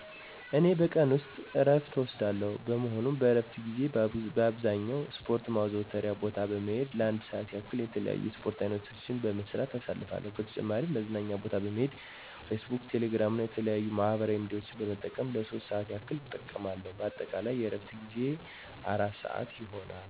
እኔ በቀን ዎስጥ እረፍት እወስዳለሁ። በመሆኑም በእረፍት ጊዜየ በአብዛኛው በስፖረት ማዘውተሪያ ቦታ በመሄድ ለአንድ ሰአት ያህል የተለያዩ የስፖርት አይነቶችን በመስራት አሳልፋለሁ። በተጨማሪም መዝናኛ ቦታ በመሄድ ፌስቡክ፣ ቴሌግራም እና የተለያዩ ማህበራዊ ሚዲያዎችን በመጠቀም ለሶስት ሰአት ያህል እጠቀማለሁ። በአጠቃላይ የእረፍት ጊዜየ አራት ሰአት ይሆናል።